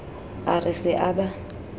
a re se a ba